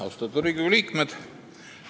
Austatud Riigikogu liikmed!